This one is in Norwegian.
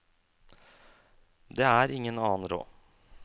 Det er ingen annen råd.